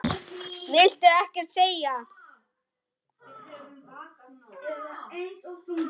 Viltu ekkert segja?